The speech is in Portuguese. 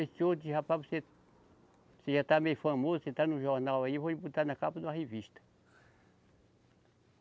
Esse outro disse, rapaz, você, você já está meio famoso, você está no jornal aí, vou lhe botar na capa de uma revista.